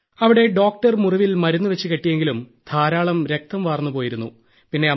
അവിടെ ഡോക്ടർ മുറിവിൽ മരുന്നുവെച്ച് കെട്ടിയെങ്കിലും ധാരാളം രക്തം വാർന്നുപോയിരുന്നു